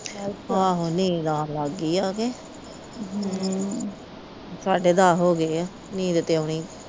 ਆਹੋ ਨੀਂਦ ਆਉਣ ਲੱਗ ਗਈ ਆ ਕੇ ਸਾਢੇ ਦਸ ਹੋ ਗਏ ਆ ਨੀਂਦ ਤੇ ਆਉਣੀ।